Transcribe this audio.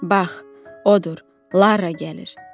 Bax, odur, Lara gəlir.